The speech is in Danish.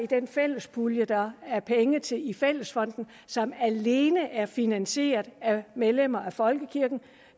den fælles pulje der er afsat penge til i fællesfonden og som alene er finansieret af medlemmer af folkekirken